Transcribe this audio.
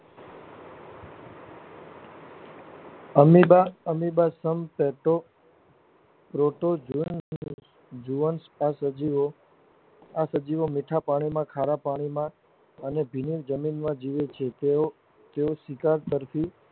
amoeba amoeba સજીવો આ સજીવો મીઠાંપાણી માં ખરાપાણી માં અને ભીની જમીનમાં જીવે છે તેઓ તેઓ શિકાર તરફી